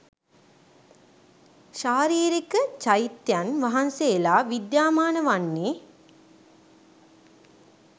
ශාරීරික, චෛත්‍යයන් වහන්සේලා විද්‍යාමාන වන්නේ